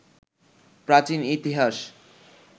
প্রাচীন ইতিহাস